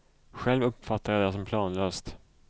Själv uppfattar jag det som planlöst.